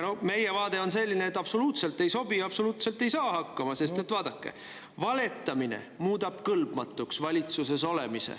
No meie vaade on selline, et absoluutselt ei sobi ja absoluutselt ei saa hakkama, sest vaadake, valetamine muudab valitsuses olemiseks kõlbmatuks.